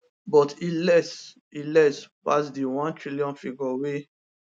but e less e less pass di 1tn figure wey